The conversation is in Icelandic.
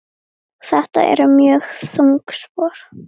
Þetta eru mjög þung spor.